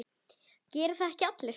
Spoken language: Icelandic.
Gera það ekki allir?